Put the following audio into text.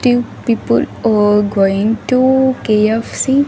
Two people are going to K_F_C.